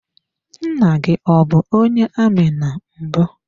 Nna gị ọ bụ onye amị na mbụ.